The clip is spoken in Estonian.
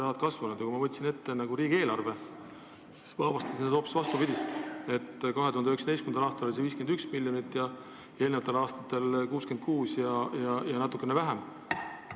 Aga kui ma võtsin ette riigieelarve, siis ma avastasin sealt hoopis vastupidist: 2019. aastal oli see summa 51 miljonit, eelmistel aastatel 66 miljonit ja natukene vähem.